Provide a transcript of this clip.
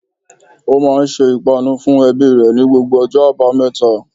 O máa n se ìpanu fun ebí re ni gbogbo ojó àbáméta